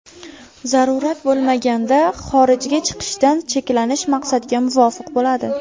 Zarurat bo‘lmaganda xorijga chiqishdan cheklanish maqsadga muvofiq bo‘ladi.